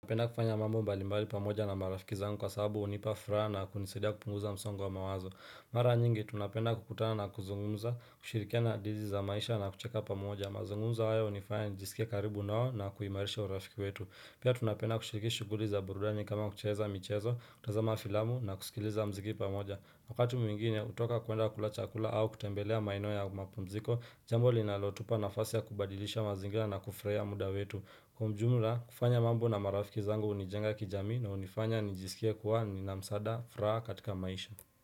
Napenda kufanya mambo mbalimbali pamoja na marafiki zangu kwa sababu hunipa furaha na kunisaidia kupunguza msongo wa mawazo Mara nyingi tunapenda kukutana na kuzungumza, kushirikia na dizi za maisha na kucheka pamoja mazungumzo hayo unifanya nijisikie karibu nao na kuhimarisha urafiki wetu Pia tunapenda kushirikia shughuli za burudani kama kucheza michezo, kutazama filamu na kusikiliza mziki pamoja Wakati mwingine hutoka kuenda kulachakula au kutembelea maeno ya mapumziko Jambo linalotupa nafasi ya kubadilisha mazingira na kufurahia muda wetu Kwa umjumla, kufanya mambo na marafiki zangu unijenga kijamii na unifanya nijisikie kuwa nina msaada furaha katika maisha.